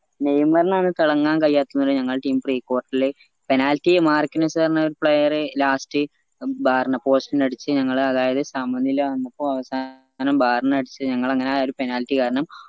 നെയിമാറിനാണ് തിളങ്ങാൻ കഴിയാത്ത എന്നുള്ള ഞങ്ങള team precourt ല് penalty യെ മാർക്കനെസ്സ് പറഞ്ഞോര് player last bar ന post നടിച്ച് ഞങ്ങളെ അതായത് സമനില വന്നപ്പോ അവസാനം bar നടിച്ച് ഞങ്ങള് ആ അങ്ങനെ ആ ഒരു penalty കാരണം